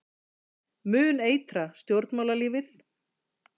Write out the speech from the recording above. Mun eitra stjórnmálalífið